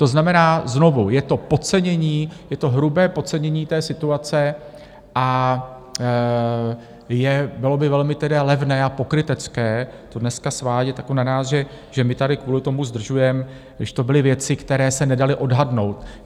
To znamená, znovu, je to podcenění, je to hrubé podcenění té situace a bylo by velmi levné a pokrytecké to dneska svádět na nás, že my tady kvůli tomu zdržujeme, když to byly věci, které se nedaly odhadnout.